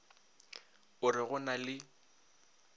o re go na le